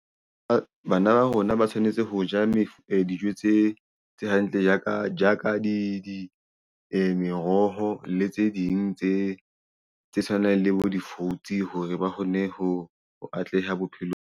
Bana ba rona ba tshwanetse ho ja dijo tse hantle jaaka meroho le tse ding tse tshwanang le bo di-fruits hore ba kgone ho ho atleha bophelong.